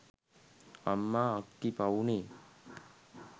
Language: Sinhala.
අම්මා අක්කි පව්නේ